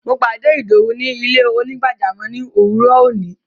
Mo pàdé Ìdọwú ni ilẹ̀-onígbàjàmọ́ ni owúrọ́ ọ̀ní.